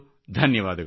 ಧನ್ಯವಾದಗಳು